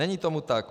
Není tomu tak.